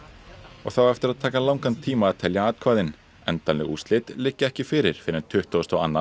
og það á eftir að taka langan tíma að telja atkvæðin endanleg úrslit liggja ekki fyrir fyrr en tuttugasta og annan